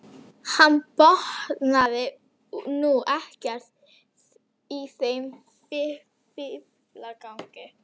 Ég botnaði nú ekkert í þeim fíflagangi.